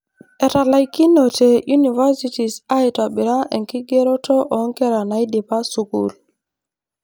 Etalaikinote universities aitobira enkigeroto oonkera naidipa school.